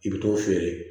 I bɛ t'o feere